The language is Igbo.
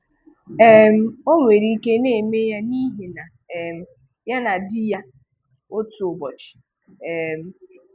um Ọ nwere ike na-eme ya n’ihi na um ya na di ya, otu ụbọchị. um